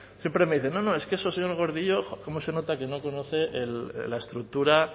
siempre me dice no no es que eso señor gordillo cómo se nota que no conoce la estructura